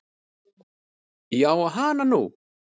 Já og hana nú.